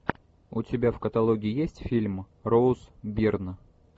у тебя в каталоге есть фильм роуз бирн